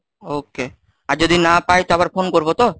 Okay, আর যদি না পাই তো আবার phone করবো তো?